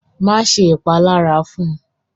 Máṣe ṣẹ́ ìpàlàrá fún!